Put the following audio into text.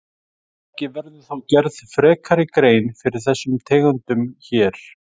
Ekki verður þó gerð frekari grein fyrir þessum tegundum hér.